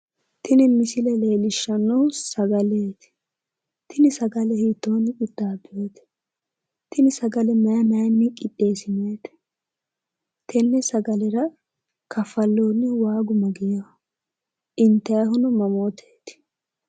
tini misile leellishshanohu sagaleeti tini sagale hiittooni qixxeessinoonite tini sagale mayi mayinni qixxeessinoonite tenne sagalera kafalloonnihu waagu mageeho intayiihuno mamooteeti?